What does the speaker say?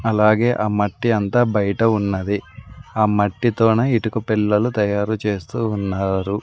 అలాగే ఆ మట్టి అంతా బయట ఉన్నది ఆ మట్టితోనే ఇటుక పెళ్ళలు తయారు చేస్తూ ఉన్నారు.